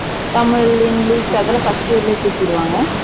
Tamil, english அதுலாம் first year லயே தூக்கிருவங்க